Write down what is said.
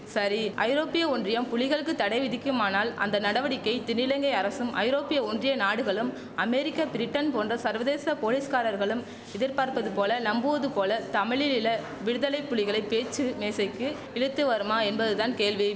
சரி ஐரோப்பிய ஒன்றியம் புலிகளுக்குத் தடை விதிக்குமானால் அந்த நடவடிக்கை தென்னிலங்கை அரசும் ஐரோப்பிய ஒன்றிய நாடுகளும் அமெரிக்கா பிரிட்டன் போன்ற சர்வதேச போலிஸ்காரர்களும் எதிர்பார்ப்பதுபோல நம்புவதுபோல தமிழிழில விடுதலை புலிகளை பேச்சு மேசைக்கு இழுத்து வருமா என்பதுதான் கேள்வி